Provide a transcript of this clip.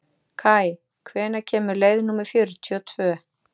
Kaj, hvenær kemur leið númer fjörutíu og tvö?